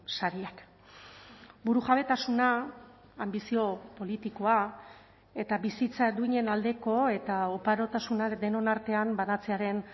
sariak burujabetasuna anbizio politikoa eta bizitza duinen aldeko eta oparotasuna denon artean banatzearen